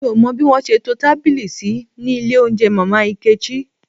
Mi ò mọ bí wọ́n ṣe to tábìlì sí ní ilé oúnjẹ Mama Nkechi